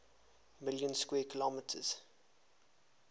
million square kilometers